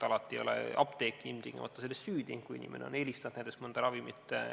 Alati ei ole apteek ilmtingimata selles süüdi, kui inimene on eelistanud näiteks mõnda ravimit.